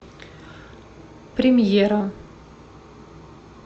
премьера